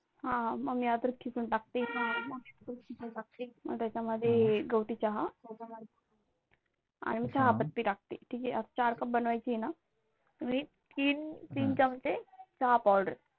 हा मग मी अद्रक किसून टाकते, त्याच्यामध्ये गवठी चहा आणि चहा पत्ती टाकते ठीक आहे. चार Cup बनवायचे आहे ना तीन चमचे चहा Powder